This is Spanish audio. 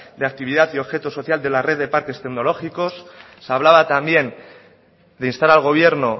de actividad y objeto social de la red de parques tecnológicos se hablaba también de instar al gobierno